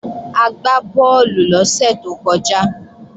A gbá bọ́ọ̀lù lọ́sẹ̀ tó kọjá